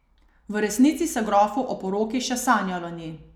V resnici se grofu o poroki še sanjalo ni.